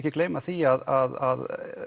gleyma því að